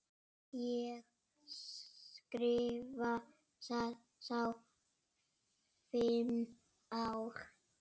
Ég skrifa þá fimm ár.